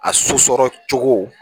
A so sɔrɔ cogo